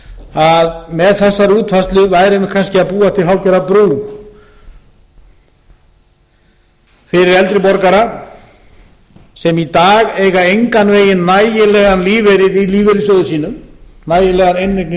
að með þessari útfærslu værum við að búa til hálfgerða brú fyrir eldri borgara sem í dag eiga engan veginn nægilegan lífeyri í lífeyrissjóði sínum nægilegar inneignir í lífeyrissjóði